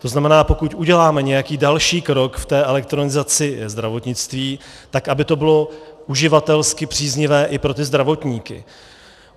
To znamená, pokud uděláme nějaký další krok v té elektronizaci zdravotnictví, tak aby to bylo uživatelsky příznivé i pro ty zdravotníky.